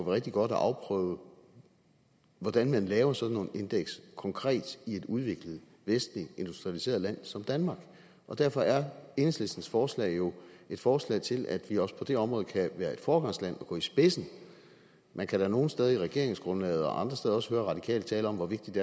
rigtig godt at afprøve hvordan man laver sådan nogle indeks konkret i et udviklet vestligt industrialiseret land som danmark derfor er enhedslistens forslag jo et forslag til at vi også på det område kan være et foregangsland og gå i spidsen man kan da nogle steder i regeringsgrundlaget og andre steder også høre radikale tale om hvor vigtigt